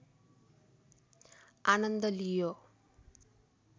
आनन्द लियो